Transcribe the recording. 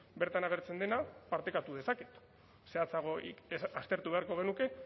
bertan agertzen dena partekatu dezaket zehatzago aztertu beharko genuke